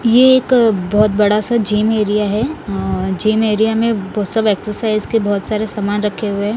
ये एक बहोत बड़ा सा जिम एरिया है अ जिम एरिया में वो सब एक्सरसाइज के बहोत सारे सामान रखे हुए--